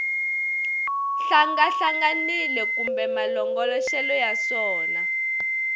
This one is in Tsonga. hlangahlanganile kambe malongoloxelo ya swona